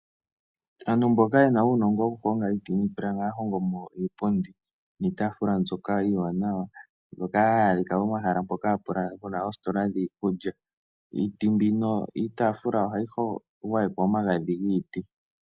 Aantu mboka ye na uunongo wokuhonga iiti niipilangi ohaya hongo mo iipundi niitaafula iiwanawa mbyoka hayi adhika pomahala mpoka pu na oositola dhiikulya. Iiti mbino yiitaafula ohayi gwayekwa omagadhi giiti.